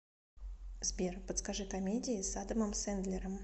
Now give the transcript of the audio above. сбер подскажи комедии с адамом сендлером